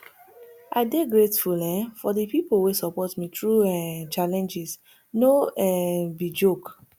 i dey grateful um for di pipo wey support me through um challenges no um be joke